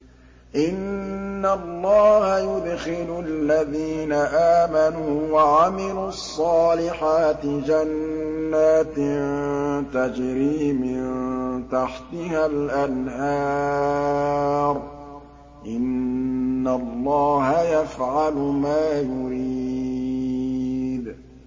إِنَّ اللَّهَ يُدْخِلُ الَّذِينَ آمَنُوا وَعَمِلُوا الصَّالِحَاتِ جَنَّاتٍ تَجْرِي مِن تَحْتِهَا الْأَنْهَارُ ۚ إِنَّ اللَّهَ يَفْعَلُ مَا يُرِيدُ